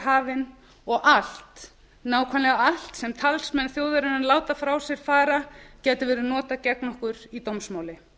hafin og allt nákvæmlega allt sem talsmenn þjóðarinnar láta frá sér fara gæti verið notað gegn okkur í dómsmáli